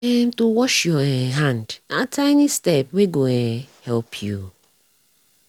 um to wash your um hand nah tiny step when go um help you.